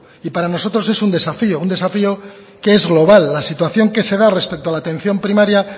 y para nosotros es un desafío un desafío que es global la situación que se da respecto a la atención primaria